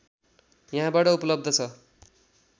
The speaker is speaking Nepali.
यहाँबाट उपलब्ध छ